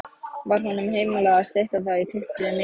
Var honum heimilað að stytta það í tuttugu mínútur.